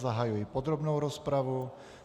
Zahajuji podrobnou rozpravu.